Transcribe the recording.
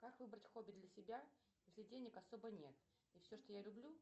как выбрать хобби для себя если денег особо нет и все что я люблю